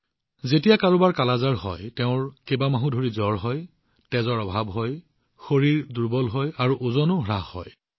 যেতিয়া কাৰোবাৰ কালা আজাৰ হয় মাহটোজুৰি জ্বৰ হয় ৰক্তহীনতা হয় শৰীৰ দুৰ্বল হয় আৰু ওজনো হ্ৰাস হয়